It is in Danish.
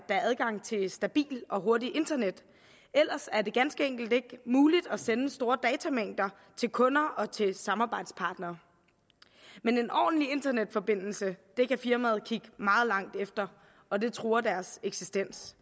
er adgang til stabilt og hurtigt internet ellers er det ganske enkelt ikke muligt at sende store datamængder til kunder og til samarbejdspartnere men en ordentlig internetforbindelse kan firmaet kigge meget langt efter og det truer dets eksistens